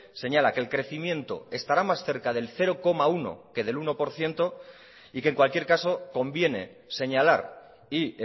señala que el crecimiento estarámás cerca del cero coma uno que del uno por ciento y que en cualquier caso conviene señalar y